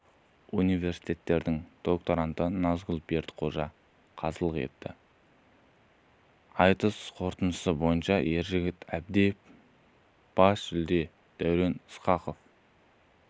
университетінің докторанты назгүл бердіқожа қазылық етті айтысқ орытындысы бойынша ержеңіс әбдиев бас жүлде дәурен ысқақов